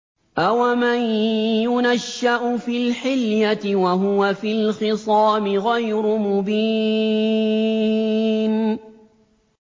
أَوَمَن يُنَشَّأُ فِي الْحِلْيَةِ وَهُوَ فِي الْخِصَامِ غَيْرُ مُبِينٍ